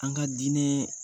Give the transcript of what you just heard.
An ka diinɛɛ